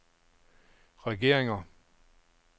regeringer